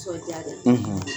Nisɔndiya de ye